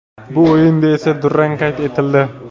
Bu o‘yinda esa durang qayd etildi.